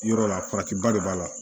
Yɔrɔ la faratiba de b'a la